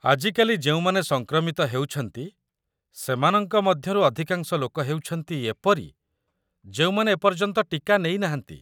ଆଜିକାଲି ଯେଉଁମାନେ ସଂକ୍ରମିତ ହେଉଛନ୍ତି ସେମାନଙ୍କ ମଧ୍ୟରୁ ଅଧିକାଂଶ ଲୋକ ହେଉଛନ୍ତି ଏପରି ଯେଉଁମାନେ ଏପର୍ଯ୍ୟନ୍ତ ଟୀକା ନେଇ ନାହାନ୍ତି।